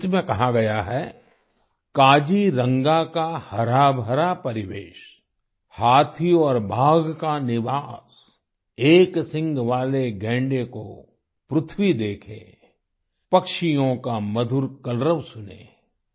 इस गीत में कहा गया है काजीरंगा का हराभरा परिवेश हाथी और बाघ का निवास एक सींग वाले गैंडे को पृथ्वी देखे पक्षियों का मधुर कलरव सुने